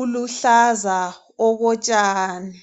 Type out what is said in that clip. uluhlaza okotshani